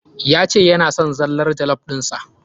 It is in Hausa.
Ya ce yana son zallar jollof ɗin sa.